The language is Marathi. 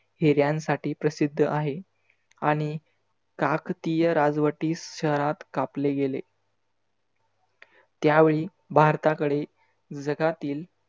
हिर्‍यांसाठी प्रसिद्ध आहे. आणि काकतीय रा जवटीस शहरात कापले गेले. त्यावेळी भारताकडे जगातील